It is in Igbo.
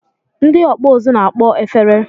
Ndị ọkpụ uzu na-akpọ efere